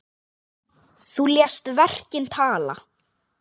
Þú lést verkin tala.